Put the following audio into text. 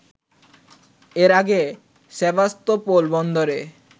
এর আগে সেভাস্তোপোল বন্দরের